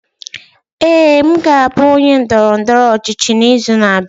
Ee, m ga-abụ onye ndọrọ ndọrọ ọchịchị n'izu na-abịa.